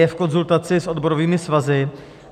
Je v konzultaci s odborovými svazy.